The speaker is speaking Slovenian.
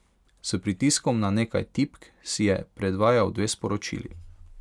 S pritiskom na nekaj tipk si je predvajal dve sporočili.